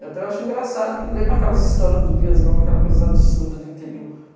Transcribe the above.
Eu até acho engraçado que lembra aquelas histórias do Diaz Gomes, aquelas coisas absurdas de interior.